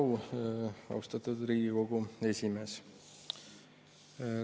Suur au, austatud Riigikogu esimees!